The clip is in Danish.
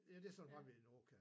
Ja det så meget vi nu kan